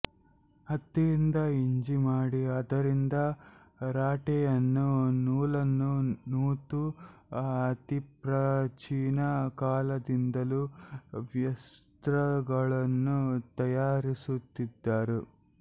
ಹತ್ತಿಯಿಂದ ಹಿಂಜಿ ಮಾಡಿ ಅದರಿಂದ ರಾಟೆಯನ್ನು ನೂಲನ್ನು ನೂತು ಅತಿಪ್ರಾಚೀನ ಕಾಲದಿಂದಲೂ ವಸ್ತ್ರಗಳನ್ನು ತಯಾರಿಸುತ್ತಿದ್ದರು